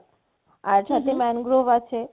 আর হম হম সাথে mangrove আছে